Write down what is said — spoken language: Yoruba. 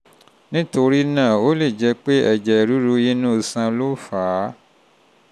nítorí náà ó lè jẹ́ pé ẹ̀jẹ̀ ríru inú iṣan ló fà á